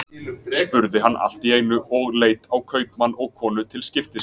spurði hann allt í einu, og leit á kaupmann og konu til skiptis.